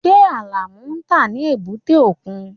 Ṣé Alamu ń tà ní èbúté òkun?